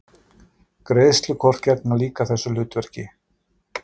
Greiðslukort gegna líka þessu hlutverki.